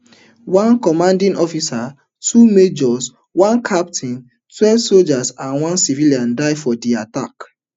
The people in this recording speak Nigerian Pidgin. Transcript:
one commanding officer two majors one captain twelve sojas and one civilian die for di attack